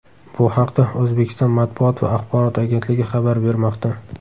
Bu haqda O‘zbekiston Matbuot va axborot agentligi xabar bermoqda.